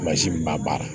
min b'a baara